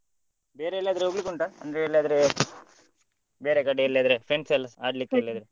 ಬೇರೆ ಎಲ್ಲಿ ಆದ್ರೂ ಹೋಗ್ಲಿಕ್ಕೆ ಉಂಟಾ ಅಂದ್ರೆ ಎಲ್ಲದ್ರೆ ಬೇರೆ ಕಡೆ ಎಲ್ಲದ್ರೆ friends ಎಲ್ಲ ಆಡ್ಲಿಕ್ಕೆ ?